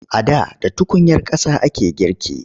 A da da tukunyar ƙasa ake girki.